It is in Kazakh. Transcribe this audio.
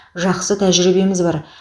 жақсы тәжірибеміз бар